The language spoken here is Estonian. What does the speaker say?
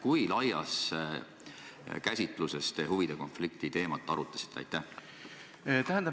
Kui laias käsitluses te huvide konflikti teemat arutasite?